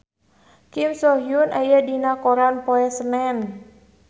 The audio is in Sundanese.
Kim So Hyun aya dina koran poe Senen